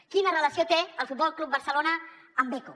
quina relació té el futbol club barcelona amb beko